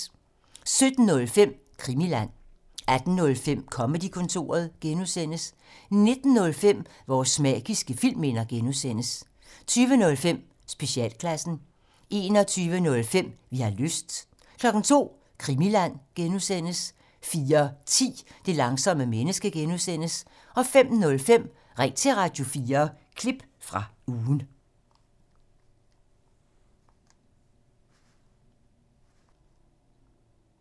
17:05: Krimiland 18:05: Comedy-kontoret (G) 19:05: Vores magiske filmminder (G) 20:05: Specialklassen 21:05: Vi har lyst 02:00: Krimiland (G) 04:10: Det langsomme menneske (G) 05:05: Ring til Radio4 – klip fra ugen